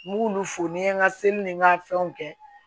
N b'olu fo n ye n ka seli ni n ka fɛnw kɛ